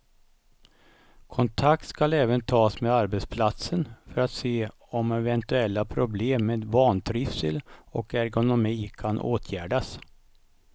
Kontakt ska även tas med arbetsplatsen för att se om eventuella problem med vantrivsel och ergonomi kan åtgärdas.